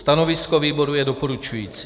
Stanovisko výboru je doporučující.